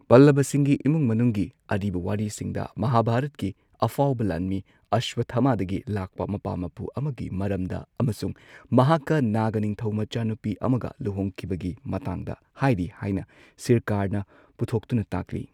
ꯄꯜꯂꯕꯁꯤꯡꯒꯤ ꯏꯃꯨꯡ ꯃꯅꯨꯡꯒꯤ ꯑꯔꯤꯕ ꯋꯥꯔꯤꯁꯤꯡꯗ ꯃꯍꯥꯚꯥꯔꯠꯀꯤ ꯑꯐꯥꯎꯕ ꯂꯥꯟꯃꯤ ꯑꯁ꯭ꯋꯠꯊꯃꯥꯗꯒꯤ ꯂꯥꯛꯄ ꯃꯄꯥ ꯃꯄꯨ ꯑꯃꯒꯤ ꯃꯔꯝꯗ ꯑꯃꯁꯨꯡ ꯃꯍꯥꯛꯀ ꯅꯥꯒ ꯅꯤꯡꯊꯧꯃꯆꯥꯅꯨꯄꯤ ꯑꯃꯒ ꯂꯨꯍꯣꯡꯈꯤꯕꯒꯤ ꯃꯇꯥꯡꯗ ꯍꯥꯏꯔꯤ ꯍꯥꯏꯅ ꯁꯤꯔꯀꯥꯔꯅ ꯄꯨꯊꯣꯛꯇꯨꯅ ꯇꯥꯛꯂꯤ꯫